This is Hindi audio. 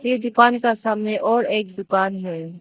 एक दुकान का सामने और एक दुकान है।